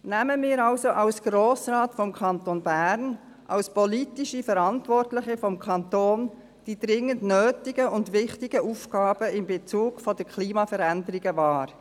Nehmen wir also als Grosser Rat des Kantons Bern, als politisch Verantwortliche des Kantons, die dringend nötigen und wichtigen Aufgaben in Bezug auf die Klimaveränderung wahr.